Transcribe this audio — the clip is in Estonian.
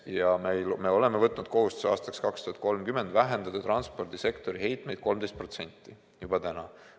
Ja me oleme võtnud kohustuse vähendada aastaks 2030 transpordisektori heitmeid 13%, juba täna.